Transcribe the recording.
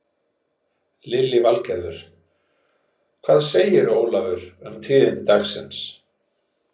Lillý Valgerður: Hvað segirðu Ólafur um tíðindi dagsins?